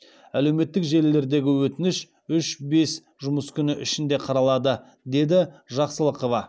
әлеуметтік желілердегі өтініш үш бес жұмыс күні ішінде қаралады деді жақсылықова